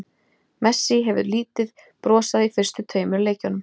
Messi hefur lítið brosað í fyrstu tveimur leikjunum.